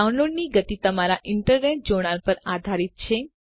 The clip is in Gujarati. ડાઉનલોડની ગતી તમારા ઈન્ટરનેટ જોડાણ પર આધારિત છે